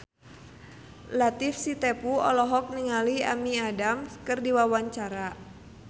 Latief Sitepu olohok ningali Amy Adams keur diwawancara